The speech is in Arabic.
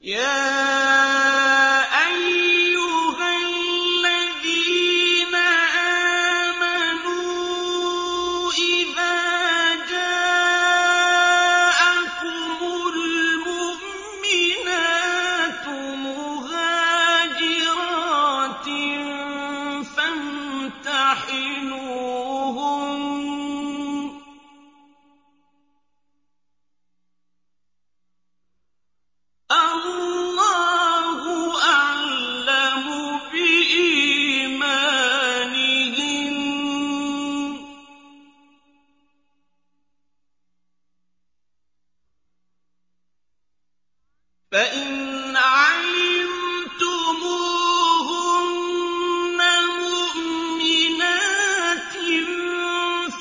يَا أَيُّهَا الَّذِينَ آمَنُوا إِذَا جَاءَكُمُ الْمُؤْمِنَاتُ مُهَاجِرَاتٍ فَامْتَحِنُوهُنَّ ۖ اللَّهُ أَعْلَمُ بِإِيمَانِهِنَّ ۖ فَإِنْ عَلِمْتُمُوهُنَّ مُؤْمِنَاتٍ